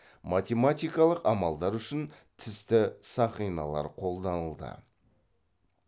математикалық амалдар үшін тісті сақиналар қолданылды